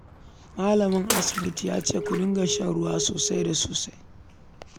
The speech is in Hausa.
Malamin asibitin ya ce ku dinga shan ruwa sosai da sosai